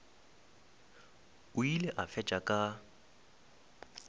o ile a fetša ka